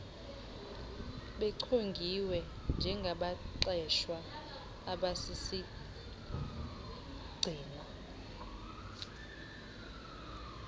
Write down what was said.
bechongiwe njengabaqeshwa abasisigxina